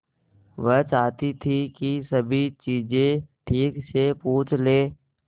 वह चाहती थी कि सभी चीजें ठीक से पूछ ले